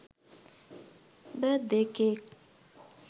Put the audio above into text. birth day cake